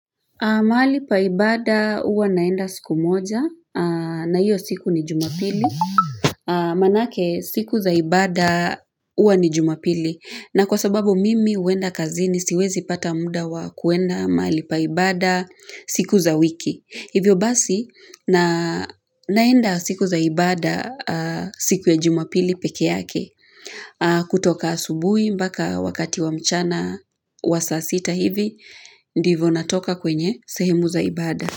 Mahali pa ibada huwa naenda siku moja na hiyo siku ni jumapili maanake siku za ibada huwa ni jumapili na kwa sababu mimi huenda kazini siwezi pata muda wa kuenda mahali pahali pa ibada siku za wiki. Hivyo basi naenda siku za ibada siku ya jumapili peke yake kutoka asubui mpaka wakati wa mchana wa saa sita hivi ndivyo natoka kwenye sehemu za ibada.